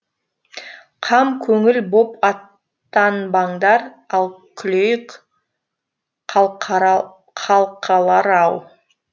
қам көңіл боп аттанбаңдар ал күлейік қалқалар ау